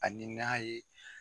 Ani n'a ye